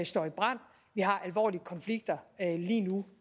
står i brand vi har alvorlige konflikter lige nu